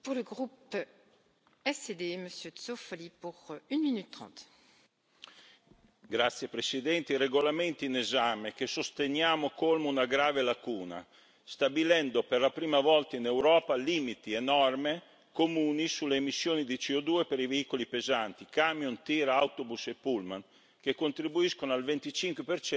Signora Presidente, onorevoli colleghi, il regolamento in esame, che sosteniamo, colma una grave lacuna, stabilendo per la prima volta in Europa limiti e norme comuni sulle emissioni di CO2 per i veicoli pesanti camion, tir, autobus e pullman che contribuiscono al 25